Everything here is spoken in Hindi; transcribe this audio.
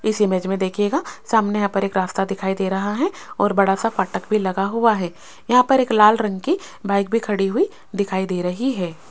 इस इमेज में देखिएगा सामने यहां पर एक रास्ता दिखाई दे रहा है और बड़ा सा फाटक भी लगा हुआ है यहां पर एक लाल रंग की बाइक भी खड़ी हुई दिखाई दे रही है।